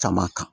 Caman kan